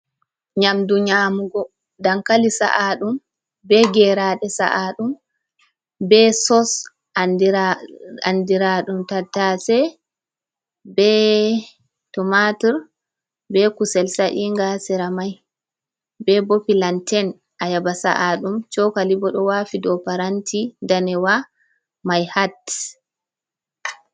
Nyamdu nyamugo dankali sa’a ɗum be geraaɗe sa’a ɗum be sos andira ɗum tattase be tomatur, be kusel sa'inga sera mai be bo pilanten ayaba sa’a ɗum cokali bo ɗo waafi dou paranti danewa mai hat.